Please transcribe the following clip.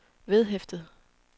vedhæftet